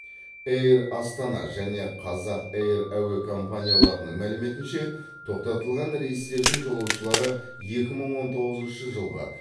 эйр астана және қазақ эйр әуе компанияларының мәліметінше тоқтатылған рейстердің жолаушылары екі мың он тоғызыншы жылғы